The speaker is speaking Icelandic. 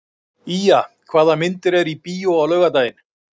Ýja, hvaða myndir eru í bíó á laugardaginn?